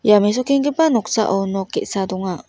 ia mesokenggipa noksao nok ge·sa donga.